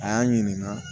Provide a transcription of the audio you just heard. A y'an ɲininka